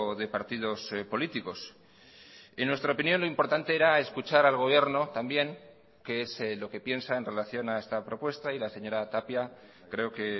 de partidos políticos en nuestra opinión lo importante era escuchar al gobierno también qué es lo que piensa en relación a esta propuesta y la señora tapia creo que